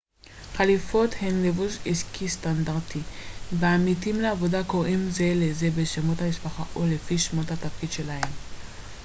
חליפות הן לבוש עסקי סטנדרטי ועמיתים לעבודה קוראים זה לזה בשמות המשפחה או לפי שמות התפקיד שלהם